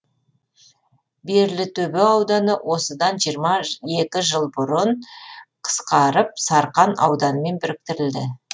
берлітөбе ауданы осыдан жиырма екі жыл бұрын қысқарып сарқан ауданымен біріктірілді